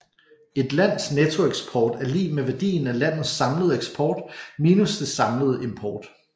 Et lands nettoeksport er lig med værdien af landets samlede eksport minus dets samlede import